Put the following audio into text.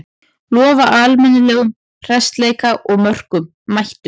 Lofa almennum hressleika og mörkum, mættu!